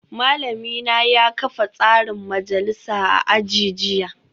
Malamina ya kafa tsarin majalisa a aji jiya